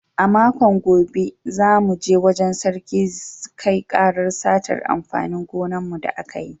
A makon gobe, za mu je wajen Sarki kai ƙarar satar amfanin gonan mu da aka yi